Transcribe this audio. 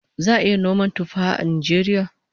Za'a iya noman tuffaha a Najeriya?